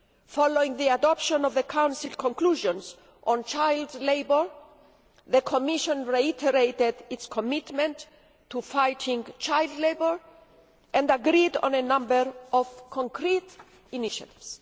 Following the adoption of the Council conclusions on child labour, the Commission reiterated its commitment to fighting child labour and agreed on a number of concrete initiatives.